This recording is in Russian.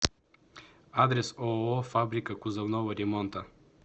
адрес ооо фабрика кузовного ремонта